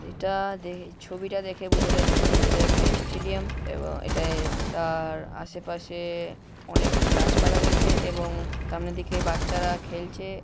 এটা দে ছবিটা দেখে বোঝা যাচ্ছে এটা একটা স্টেডিয়াম এবং এটা তার আশেপাশেএ অনেক গাছপালা রয়েছে এবং উ সামনে দিকে বাচ্চারা খেলছে।